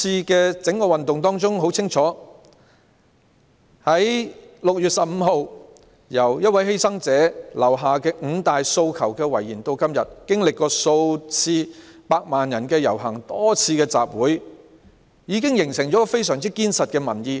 在整個運動中，由6月15日第一位犧牲者留下"五大訴求"的遺言至今，經歷了數次百萬人遊行及多次集會，已經形成非常緊實的民意。